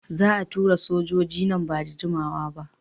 Za a tura sojoji nan ba da jimawa ba.